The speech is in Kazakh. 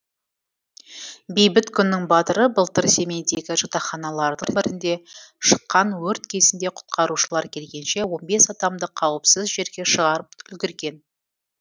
бейбіт күннің батыры былтыр семейдегі жатақханалардың бірінде шыққан өрт кезінде құтқарушылар келгенше он бес адамды қауіпсіз жерге шығарып үлгерген